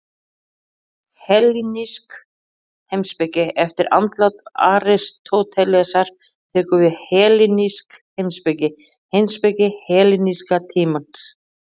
Hellenísk heimspeki Eftir andlát Aristótelesar tekur við hellenísk heimspeki, heimspeki helleníska tímans.